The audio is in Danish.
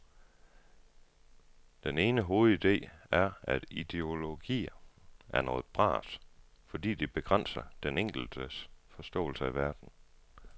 Den ene hovedide er, at ideologier er noget bras, fordi de begrænser den enkeltes forståelse af verden.